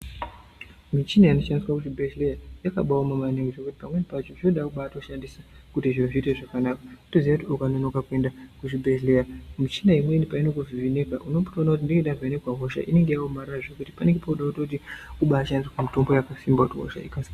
Michina inoshandiswa muzvibhehleya yakabaaoma maningi zvekuti pamweni pacho zvinoda kubaatoshandisa kuti zviro zviite zvakanaka. Wotoziya kuti ukanonoka kuenda kuzvibhedhleya, michina imweni painokuvheneka unombotoona kuti ndenge dzavhenekwa hosha inenge yaomarara zvekuti panenge pooda kutoti kumbaashandisirwa mitombo yakasimba kuti hosha ikasi...